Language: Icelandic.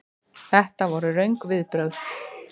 Þetta voru röng viðbrögð.